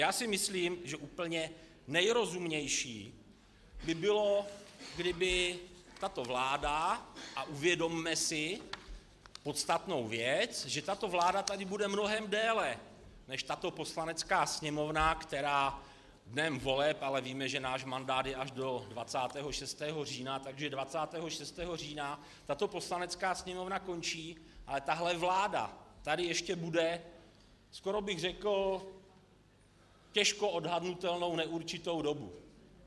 Já si myslím, že úplně nejrozumnější by bylo, kdyby tato vláda, a uvědomme si podstatnou věc, že tato vláda tady bude mnohem déle než tato Poslanecká sněmovna, která dnem voleb, ale víme, že náš mandát je až do 26. října, takže 26. října tato Poslanecká sněmovna končí, ale tahle vláda tady ještě bude, skoro bych řekl těžko odhadnutelnou, neurčitou dobu.